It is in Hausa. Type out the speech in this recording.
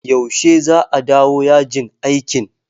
Yaushe za a dawo yajin aikin?